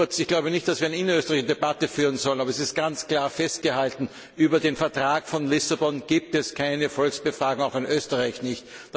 Ich glaube nicht, dass wir eine innerösterreichische Debatte führen sollten, aber es ist ganz klar festzuhalten Über den Vertrag von Lissabon gibt es keine Volksbefragung, auch in Österreich nicht!